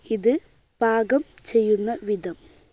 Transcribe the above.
ഇത് പാകം ചെയ്യുന്ന വിധം